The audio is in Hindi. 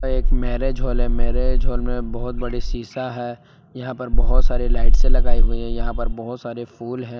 एक मैरिज हॉल है मैरिज हॉल में बहोत बड़े शिशा है यहां पर बहोत सारे लाइट्से लगाई हुई हैं यहां पर बहोत सारे फूल हैं।